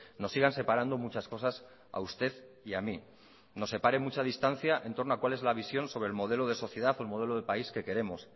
nos sigan separando muchas cosas a usted y a mí nos separe mucha distancia en torno a cuál es la visión sobre el modelo de sociedad o el modelo de país que queremos